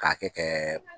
K'a kɛ